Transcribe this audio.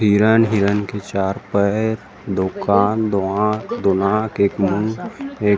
हिरन हिरन के चार पैर दो कान दो आंख दो नाक एक मुँह एक--